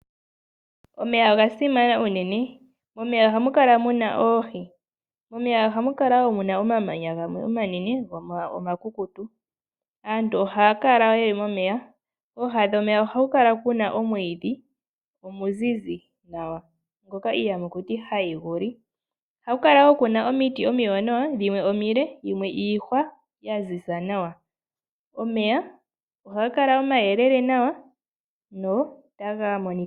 Omeya oga simana unene. Momeya ohamu kala mu na oohi. Momeya ohamu kala wo mu na omamanya gamwe omanene go omakukutu. Aantu ohaya kala ye li momeya. Kooha dhomeya ohaku kala ku na omwiidhi omuzizi nawa, ngoka iiyamakuti hayi gu li. Ohaku kala ku na wo omiti, dhimwe omile dhimwe iihwa ya ziza nawa. Omeya ohaga kala omayelele nawa notaga monika nawa.